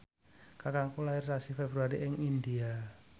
kakangku lair sasi Februari ing India